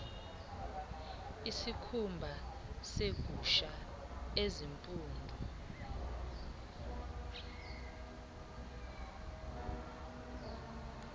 isikhumba segusha ezimpundu